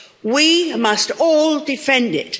We must all defend it.